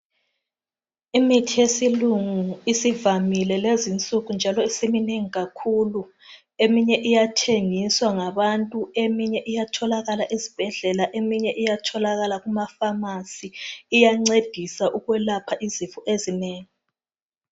Imithi yesilungu isivamile njalo isiminengi kakhulu eminye iyathengiswa ngabantu eminye iyatholakala esibhedlela eminye iyatholalakala njalo kumaPhamacy iyangcedisa ukuyelapha izifo ezinengi